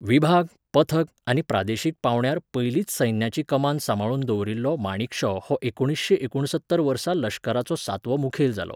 विभाग, पथक आनी प्रादेशीक पांवड्यार पयलींच सैन्याची कमान सांबाळून दवरिल्लो माणेकशॉ हो एकुणिसशें एकूणसत्तर वर्सा लश्कराचो सातवो मुखेल जालो.